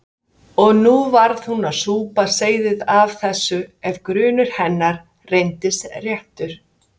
Og nú varð hún að súpa seyðið af þessu ef grunur hennar reyndist réttur.